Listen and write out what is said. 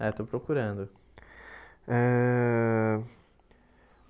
É, estou procurando eh.